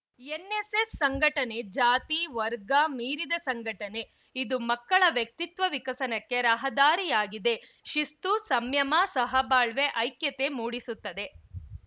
NSS ಸಂಘಟನೆ ಜಾತಿ ವರ್ಗ ಮೀರಿದ ಸಂಘಟನೆ ಇದು ಮಕ್ಕಳ ವ್ಯಕ್ತಿತ್ವ ವಿಕಸನಕ್ಕೆ ರಹದಾರಿಯಾಗಿದೆ ಶಿಸ್ತು ಸಂಯಮ ಸಹಬಾಳ್ವೆ ಐಕ್ಯತೆ ಮೂಡಿಸುತ್ತದೆ